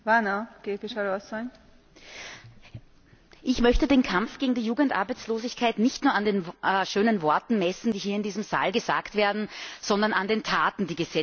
Frau Präsidentin! Ich möchte den Kampf gegen die Jugendarbeitslosigkeit nicht nur an den schönen Worten messen, die hier in diesem Saal gesagt werden, sondern an den Taten, die gesetzt werden.